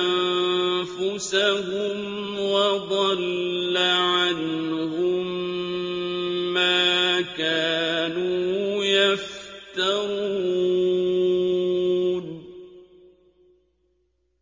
أَنفُسَهُمْ وَضَلَّ عَنْهُم مَّا كَانُوا يَفْتَرُونَ